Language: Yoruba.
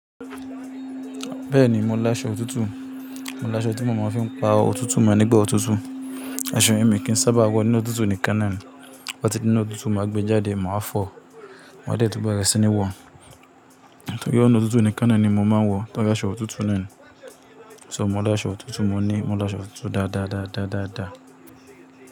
Bẹ́ẹ̀ni mò ń láṣọ òtútù. Mò láṣọ tí mò má fi ń pa òtútù mọ́ nígbà òtútù. Aṣọ yén mí kí ń sábà wọ inú òtútù níkan náà ni. Bó bá ti dinu òtútù ma gbée jáde màá fọ̀ọ́ Máa dẹ̀ tún bẹ̀rẹ̀ sí ní wọ̀. Torí ọ̀nà òtútù níkan náà ni mò máa ń wọ torí aṣọ òtútù náà ni. Ṣò mo láṣọ òtútù, mo ní mò ń láṣọ òtútù dáadáa, dáadáa, dáadáa.